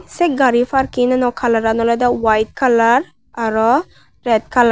sey gari parkino kalaran olodey white colour arow rat colour.